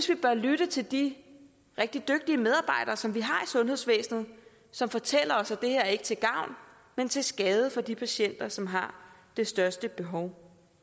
vi bør lytte til de rigtig dygtige medarbejdere som vi har i sundhedsvæsenet som fortæller os at det her ikke er til gavn men til skade for de patienter som har det største behov